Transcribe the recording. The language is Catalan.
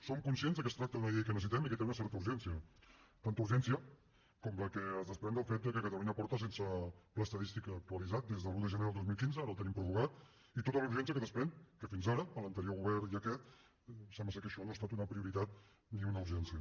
som conscients que es tracta d’una llei que necessitem i que té una certa urgència tanta urgència com la que es desprèn del fet que catalunya porta sense pla estadístic actualitzat des de l’un de gener de dos mil quinze ara el tenim prorrogat i tota la urgència que es desprèn del fet que fins ara per l’anterior govern i aquest sembla que això no ha estat una prioritat ni una urgència